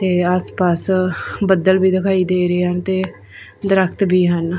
ਤੇ ਆਸ ਪਾਸ ਬੱਦਲ ਵੀ ਦਿਖਾਈ ਦੇ ਰਹੇ ਹਨ ਤੇ ਦਰੱਖਤ ਵੀ ਹਨ।